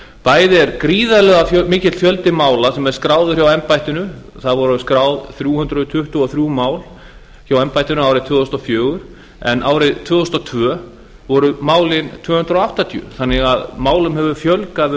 bæði er gríðarlega mikill fjöldi mála sem er skráður hjá embættinu það voru skráð þrjú hundruð tuttugu og þrjú mál hjá embættinu árið tvö þúsund og fjögur en árið tvö þúsund og tvö voru málin tvö hundruð áttatíu þannig að málum hefur fjölgað